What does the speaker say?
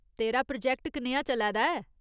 तेरा प्रोजैक्ट कनेहा चलै दा ऐ?